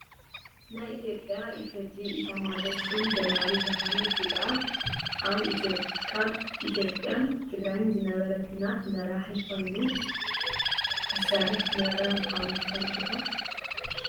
ናይ ኢትዮጵያ ኢፌዴሪ መከላከያ ኢታሚጆር ሹም ጀነራል ብርሃኑ ጁላ ኣብ ኢትዮጵያን ትግራይን ዝነበረ ኩናት መራሒ ኮይኑ ዝሰርሕ ዝነበረ ምኳኑ ትፈልጡ ዶ?